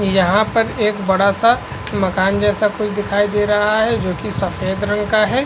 यहाँ पर एक बडा सा मकान जेसा कुछ दिखाई दे रहा हे जोकि सफेद रंग का है।